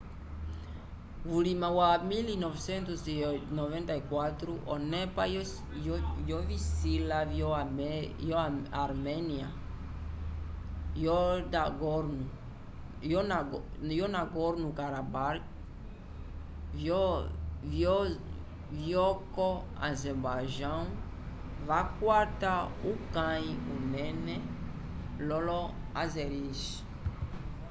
vulima wa 1994 onepa yovisila vyo armênia yo nagorno-karabakh vyoko azerbaijão vakwata uyaki unene lolo azeris